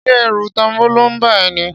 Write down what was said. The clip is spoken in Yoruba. Ṣé ẹ̀rù tanbóló ń bá a ẹ ní?